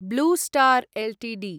blue Star Ltd